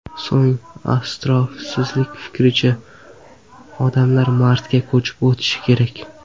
So‘ng, astrofizik fikricha, odamlar Marsga ko‘chib o‘tishi kerak.